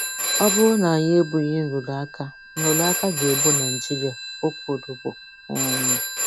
“Ọ bụrụ na anyị egbughị nrụrụ aka, nrụrụ aka ga-egbu Nigeria,” o kwurubu. um